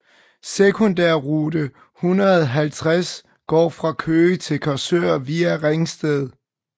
Sekundærrute 150 går fra Køge til Korsør via ringsted